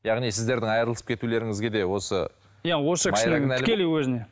яғни сіздердің айырылысып кетулеріңізге де осы иә осы кісі тікелей өзінен